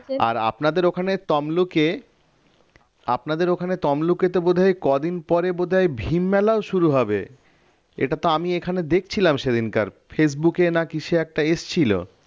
আর আপনাদের ওদিকে তমলুকে আপনাদের ওখানে তমলুকে তো বোধ হয় কদিন পরে বোধ হয় ভীম মেলাও শুরু হবে এটা তো আমি এখানে দেখছিলাম সেদিনকার ফেসবুকে না কি সে একটা এসেছিল